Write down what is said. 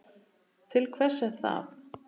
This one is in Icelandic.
Til hvers er það?